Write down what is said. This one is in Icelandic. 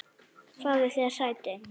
Fáðu þér sæti.